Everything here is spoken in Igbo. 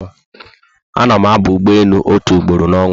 Ana mụ aba ụgbọelu otu ugboro na onwa